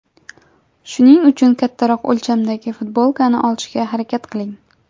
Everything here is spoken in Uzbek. Shuning uchun kattaroq o‘lchamdagi futbolkani olishga harakat qiling.